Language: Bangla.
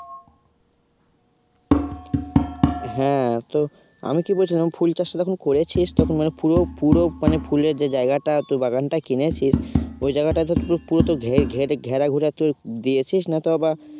হ্যাঁ তো আমি কি বলছিলাম ফুল চাষটা যখন করেছিস তখন মানে পুরো, পুরো মানে ফুলের যে জায়গাটা তোর বাগানটা কিনেছিস ওই জায়গাটা তোর পুরো তো ঘেরে ঘুরে তুই দিয়েছিস না তো আবার